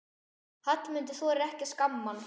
Hallmundur þorir ekki að skamma hann.